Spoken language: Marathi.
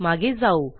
मागे जाऊ